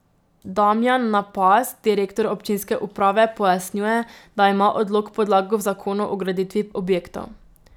Damjan Napast, direktor občinske uprave, pojasnjuje, da ima odlok podlago v zakonu o graditvi objektov.